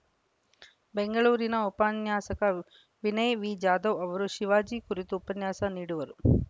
ಬೆಂಗಳೂರಿನ ಉಪನ್ಯಾಸಕ ವಿನಯ ವಿಜಾಧವ್‌ ಅವರು ಶಿವಾಜಿ ಕುರಿತು ಉಪನ್ಯಾಸ ನೀಡುವರು